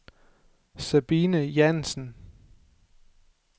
Sabine Jansen